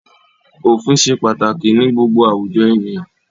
Òfin ṣe pàtàkì ní gbogbo àwùjọ ènìyàn.